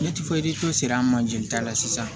Ne ti foyi siran man jeli ta la sisan